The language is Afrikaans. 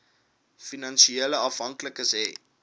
finansiële afhanklikes hê